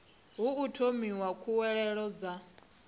hu o thomiwa khuwelelo dza